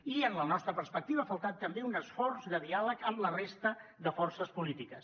i en la nostra perspectiva ha faltat també un esforç de diàleg amb la resta de forces polítiques